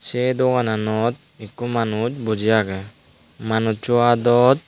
sey doananot ikko manus boji agey manusso aadot.